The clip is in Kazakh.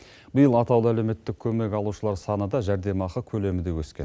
биыл атаулы әлеуметтік көмек алушылар саны да жәрдемақы көлемі де өскен